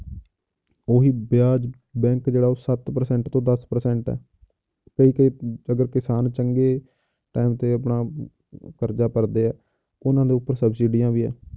ਉਹੀ ਵਿਆਜ਼ bank ਜਿਹੜਾ ਉਹ ਸੱਤ percent ਤੋਂ ਦਸ percent ਹੈ ਕੋਈ ਕਿ ਅਗਰ ਕਿਸਾਨ ਚੰਗੇ time ਤੇ ਆਪਣਾ ਕਰਜ਼ਾ ਭਰਦੇ ਹੈ ਉਹਨਾਂ ਦੇ ਉੱਪਰ ਸਬਸੀਡੀਆਂ ਵੀ ਹੈ,